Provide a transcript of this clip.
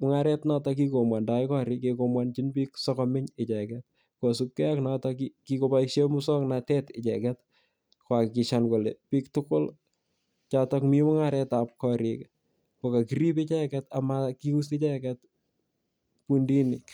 mung'aret notok kikomwani koriik kikombwanchin piik asikomeny icheget. Kosupgei ak notok kikopaishe muswoknotet icheget koakikishan kole piil tugul chotok mi mung'aret ap kariik ko kakirip icheget ama kius icheget fundiinik.